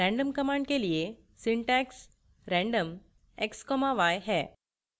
random command के लिए syntax random x y है